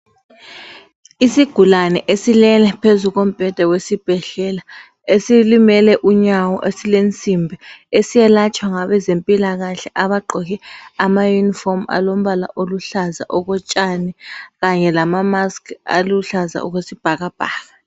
Isigulane esilele phezu kombheda wesibhedlela esilimele unyawo esilesimbi eselatshwa ngabezempilakahle abagqoke amayunifomu alombala oluhlaza okotshani kanye lamamask aluhlaza okwesibhakabhaka.